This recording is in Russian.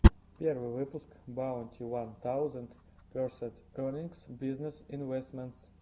первый выпуск баунти уан таузенд персент эернингс бизнесс инвэстментс